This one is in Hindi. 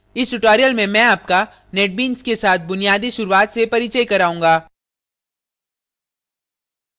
इस tutorial में मैं आपका netbeans के साथ बुनियादी शुरूवात से परिचय कराऊँगा